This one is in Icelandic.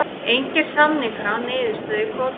Engir samningar án niðurstöðu í kvótamálum